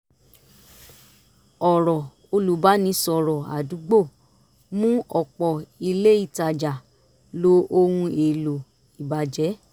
ọ̀rọ̀ olùbánisọ̀rọ̀ ádúgbò mú ọ̀pọ̀ ilé ìtajà lo ohun èlò ìbàjẹ́